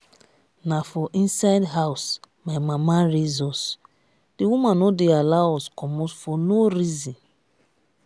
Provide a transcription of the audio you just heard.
na for inside house my mama raise us the woman no dey allow us comot for no reason